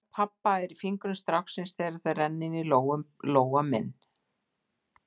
Rödd pabba er í fingrum stráksins þegar þeir renna inní lófa minn.